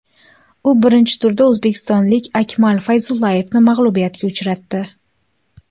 U birinchi turda o‘zbekistonlik Akmal Fayzullayevni mag‘lubiyatga uchratdi.